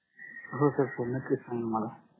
हो sir पूर्ण check मला